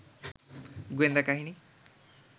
গোয়েন্দা কাহিনী